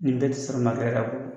Nin bɛ te sara makɛ yɛrɛ la koyi